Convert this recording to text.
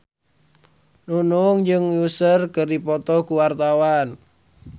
Nunung jeung Usher keur dipoto ku wartawan